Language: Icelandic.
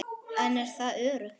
En er það nógu öruggt?